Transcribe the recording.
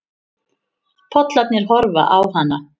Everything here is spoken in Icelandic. Pollarnir horfa á hana.